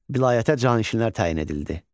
Vilayətə canişinlər təyin edildi.